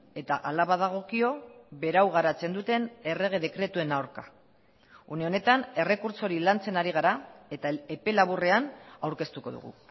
eta hala badagokio berau garatzen duten errege dekretuen aurka une honetan errekurtso hori lantzen ari gara eta epe laburrean aurkeztuko dugu